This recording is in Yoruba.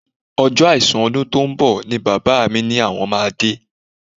Ọjọ́ àìsùn ọdún tó ń bọ̀ ni bàbá mi ní àwọn máa dé